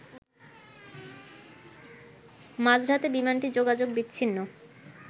মাঝরাতে বিমানটি যোগাযোগ বিচ্ছিন্ন